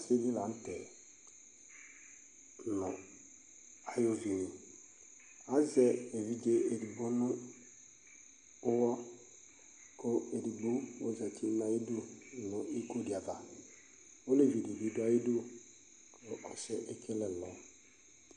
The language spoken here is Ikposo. Ɔsi di la n'tɛ nʋ ay'evini Azɛ evidze edigbo nʋ ʋwɔ kʋ edigbo ozati n'ayidu nʋ iko di ava, olevi di bi dʋ ayidu kʋ ɔsi yɛ ekele ɛlɔ